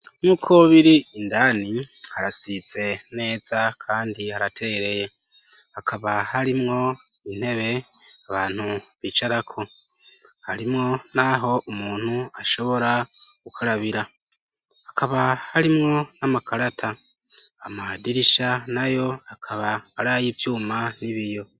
nk'uko biri indani harasize neza kandi haratereye akaba harimwo intebe abantu bicarako harimwo n'aho umuntu ashobora gukarabira akaba harimwo n'amakarata amadirisha na yo akaba ari ayivyuma n'ibiyo